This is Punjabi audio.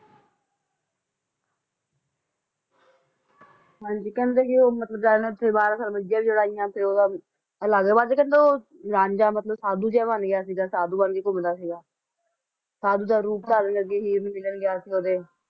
ਹਨ ਜੀ ਕਹਿੰਦੇ ਉਹ ਰਾਂਝਾ ਜ਼ੀਰਾ ਹੈ ਸਾਧੂ ਬਣ ਕ ਘੁੰਮਦਾ ਸੀ ਸਾਧੂ ਸ ਰੂਪ ਧਾਰ ਲਿੱਤਾ ਸੀ ਉਸ ਨੇ